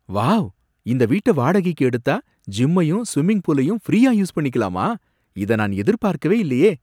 Wow! இந்த வீட்ட வாடகைக்கு எடுத்தா ஜிம்மையும் ஸ்விம்மிங் பூலையும் ஃப்ரீயா யூஸ் பண்ணிக்கலாமா, இத நான் எதிர்பார்க்கவே இல்லயே!